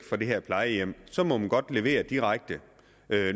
fra det her plejehjem må man godt levere direkte